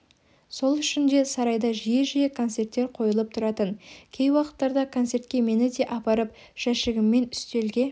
сол үшін де сарайда жиі-жиі концерттер қойылып тұратын кей уақыттарда концертке мені де апарып жәшігіммен үстелге